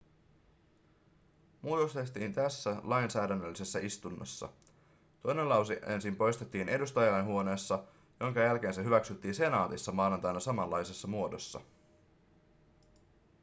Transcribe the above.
muutos tehtiin tässä lainsäädännöllisessä istunnossa toinen lause ensin poistettiin edustajainhuoneessa jonka jälkeen se hyväksyttiin senaatissa maanantaina samanlaisessa muodossa